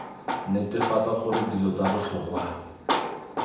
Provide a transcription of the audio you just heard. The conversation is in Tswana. netefatsa gore dilo tsa botlhokwa